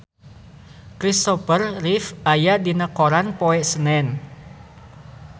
Christopher Reeve aya dina koran poe Senen